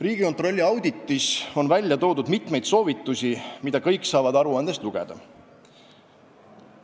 " Riigikontrolli auditis on toodud mitmeid soovitusi, mida kõik saavad aruandest lugeda.